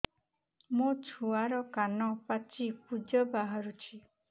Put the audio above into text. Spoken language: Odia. ମୋ ଛୁଆର କାନ ପାଚି ପୁଜ ବାହାରୁଛି